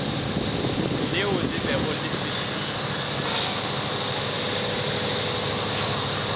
leo le bego le fetile